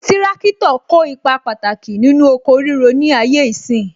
Tirakitọ kó ipa pàtàkì nínú oko ríro ni ayé ìsín